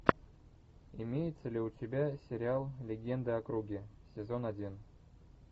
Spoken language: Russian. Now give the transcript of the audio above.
имеется ли у тебя сериал легенда о круге сезон один